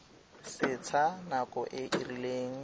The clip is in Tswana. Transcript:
setsha nako e e rileng